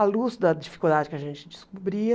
À luz da dificuldade que a gente descobria,